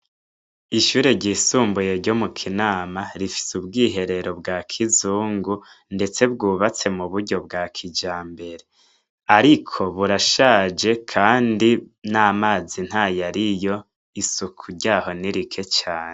Ishure ryisumbuye ryo mu kinama , rifise ubwiherero bwa kizungu ndetse bwubatse muburyo bwa kijambere ariko burashaje Kandi namazi ntayariyo isuku ryaho nitrile cane.